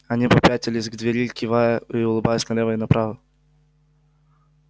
они попятились к двери кивая и улыбаясь налево и направо